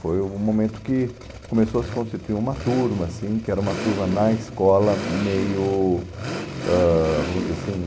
Foi o momento que começou a se constituir uma turma, assim, que era uma turma na escola meio, ãh vamos dizer assim,